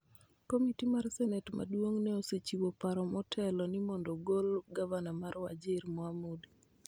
Komiti mar senet maduong' ne osechiwo paro motelo ni mondo ogol gavana mar Wajir, Mohamud.